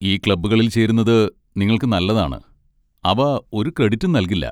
ഈ ക്ലബ്ബുകളിൽ ചേരുന്നത് നിങ്ങൾക്ക് നല്ലതാണ്, അവ ഒരു ക്രെഡിറ്റും നൽകില്ല.